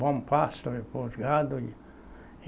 Bom pasto para os gados, e